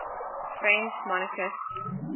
french monarchists